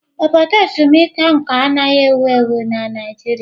Obodo ezumike nka anaghị ewu ewu na Naịjirịa.